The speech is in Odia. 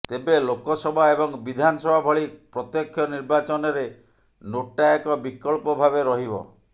ତେବେ ଲୋକସଭା ଏବଂ ବିଧାନସଭା ଭଳି ପ୍ରତ୍ୟକ୍ଷ ନିର୍ବାଚନରେ ନୋଟା ଏକ ବିକଳ୍ପ ଭାବେ ରହିବ